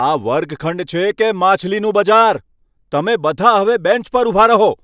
આ વર્ગખંડ છે કે માછલીનું બજાર? તમે બધા હવે બેન્ચ પર ઊભા રહો!